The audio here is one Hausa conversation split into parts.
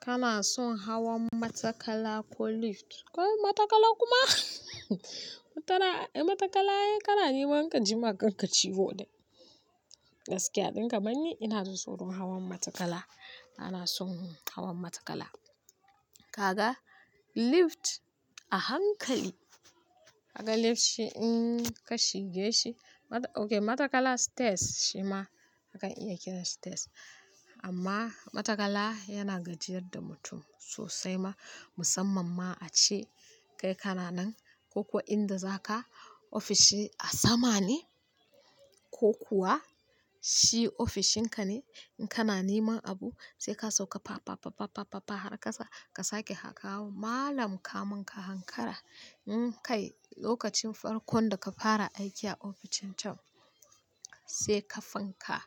Kana son hawan matakala ko lift? Kai matakala kuma matakala, ai kana nema ka jima' kan ciwo dai. Gaskiya don kamar ni, ina da tsoron hawan matakala. Bana son hawan matakala. Kaga lift a hankali, kaga lift shi in ka shige shi, OK matakala stress shi ma hakan iya kira stress amma matakala yana gajiyar da mutum sosai ma musamman ma a ce kai kana nan ko kuwa inda za ka ofishin a sama ne ko kuwa shi ofishin ka ne in kana neman abu sai ka sauka pa pa pa pa pa har kasa ka sake hakawo malam ka mun ka hankara in kai lokacin farkon da ka fara aiki a ofishin can sai ƙafan ka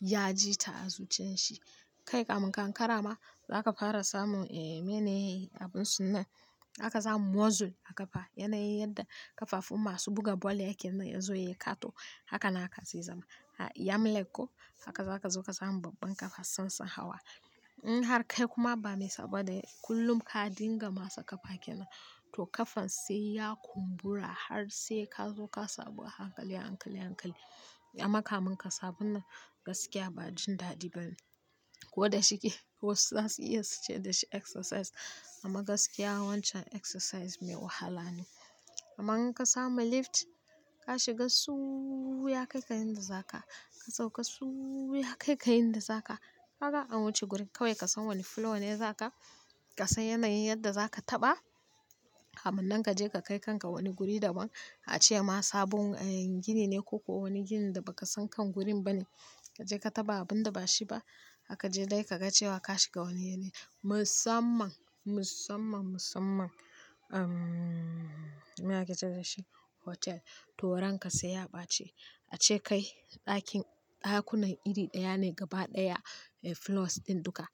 ya ji ta azuchen shi. Kai ka mun ka hankara ma za ka fara samun eh mene abunsu nan haka zamu muzzle a ƙafa yanayin yadda ƙafafun masu buga bal ayyake nan ya zo ya yi katu haka naka zai zama. Yam lake ko haka za ka zo ka samu babban ƙafa sansan hawa. In har kai kuma ba mai saboda kullum ka dinga masa ƙafa kenan to ƙafan sai ya kumbura har sai ka zo ka sabu a hankali, a hankali, a hankali. Ya maka mun ka sabon nan gaskiya ba jin dadi bane. Ko da shike wasu zasu iya su ce dashi exercise amma gaskiya wancan exercise mai wahala ne. Amma in ka samu lift ka shiga suuu ya kai ka inda za ka, ka sauka suuu ya kai ka inda za ka. Haka an wuce gurin kawai ka san wani floor ne za ka, ka san yanayin yadda za ka taɓa. Kamun nan ka je ka kai kanka wani guri daban a ce ma sabon gini ne ko kuwa wani ginin da ba ka san kan gurin bane. Ka je ka taɓa abun da ba shi ba haka je dai ka ga cewa ka shiga wani yanayi musamman, musamman, musamman. Umm me ake ce dashi hotel to ran ka sai ya ɓaci. A ce kai ɗakin ɗakunan iri ɗaya ne gaba ɗaya floors ɗin duka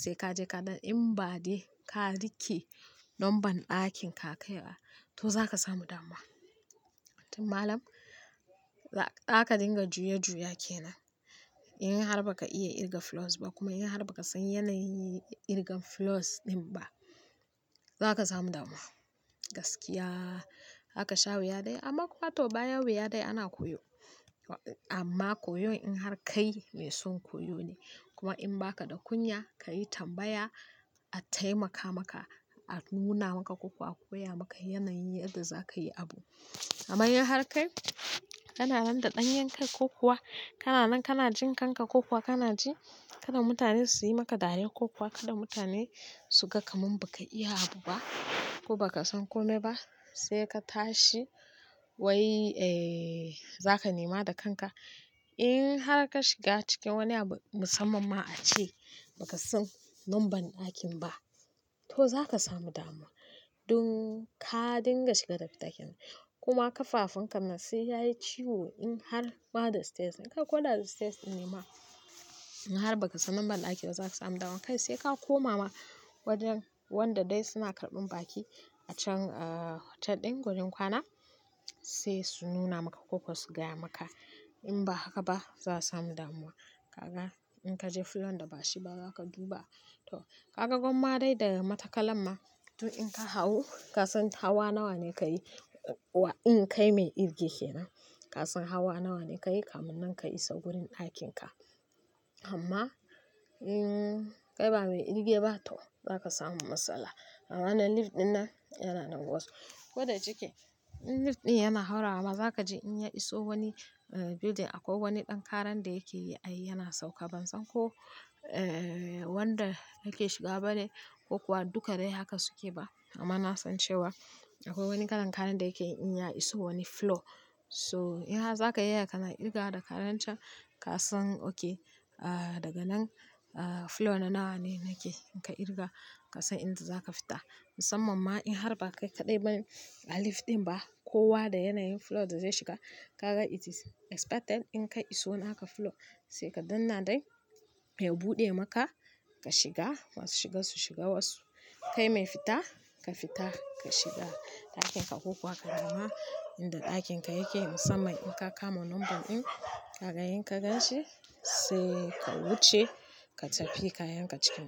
sai ka je ka ɗan in ba dai ka riƙe lambar ɗakin ka kai a to za ka samu damuwa Tun malam haka dinga juya-juya kenan. In har ba ka iya kirga floors ba kuma in har ba ka san yanayin kirgan floors ɗin ba za ka samu damuwa. Gaskiya haka sha wuya dai amma kuwa to baya wuya dai ana koyo. Amma koyon in har kai mai son koyo ne kuma in ba ka da kunya ka yi tambaya a taimaka maka, a nuna maka ko kuwa a koya maka yanayin yadda za ka yi abu. Amma in har kai kana randa ɗanyen kai ko kuwa kana nan kana jin kanka ko kuwa kana ji kada mutane su yi maka dariya ko kuwa kada mutane su ga ka mun ba ka iya abu ba ko ba ka san kome ba sai ka tashi wai eh za ka nema da kanka. In har ka shiga cikin wani abu musamman ma a ce ba ka san lambar ɗakin ba to za ka samu damuwa. Dun ka dinga shiga dafitakenan kuma ƙafafun ka ma sai yayi ciwo in har ma da stress in kai ko da stress ɗin ne ma in har ba ka san lambar ɗakin ba za ka samu damuwa. Kai sai ka koma ma wajen wanda dai suna karɓan baki a can hotel ɗin wurin kwana sai su nuna maka ko kuwa su gaya maka. In ba haka ba za a samu damuwa. Kaga in ka je floor da ba shi ba za ka duba to ka ga gwamma dai daga matakalan ma to in ka hau ka san hawa nawa ne ka yi wa in kai mai kirge kenan ka san hawa nawa ne ka yi kamun nan ka iso gurin ɗakin ka. Amma in kai ba mai kirge ba to za ka samu matsala. Amma wannan lift ɗin nan yana nan gwazo ko da shike in lift ɗin yana haura ma za ka je in ya iso wani building akwai wani ɗan karan da yake yi ai yana sauka ban san ko eh wanda yake shiga bane ko kuwa duka dai haka suke ba amma na san cewa akwai wani kalan karan da yake in ya iso wani floor so in har za ka iya kana kirga da karan can ka san OK daga nan floor nawa ne nake in ka kirga ka san inda za ka fita. Musamman ma in har ba kai kaɗai ba a lift ɗin ba kowa da yanayin floor da zai shiga ka ga it is expected in kai iso naka floor sai kaɗan nan dai ya buɗe maka ka shiga masu shiga su shiga wasu. Kai mai fita ka fita ka shiga ɗakin ka ko kuwa ka nema inda ɗakin ka yake musamman in ka kama lambar ɗin ka ga in ka gan shi sai ka wuce ka tafi kayan ka cikin ɗaki.